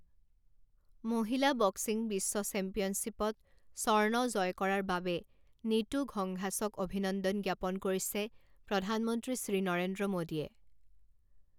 মহিলা বক্সিং বিশ্ব চেম্পিয়নশ্বিপ ত স্বৰ্ণ জয় কৰাৰ বাবে নিতু ঘংঘাছক অভিনন্দন জ্ঞাপন কৰিছে প্ৰধানমন্ত্ৰী শ্ৰী নৰেন্দ্ৰ মোদীয়ে।